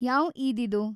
ಯಾವ್‌ ಈದ್‌ ಇದು?